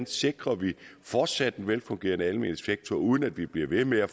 sikrer en fortsat velfungerende almen sektor uden at vi bliver ved med at